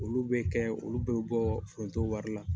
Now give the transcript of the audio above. Olu bɛ kɛ olu bɛ bɔ foronto wari la.